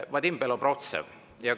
Vadim Belobrovtsev.